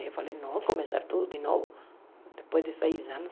Eu falei, não, vou começar tudo de novo, depois de seis anos.